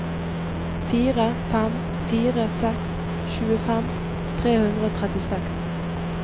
fire fem fire seks tjuefem tre hundre og trettiseks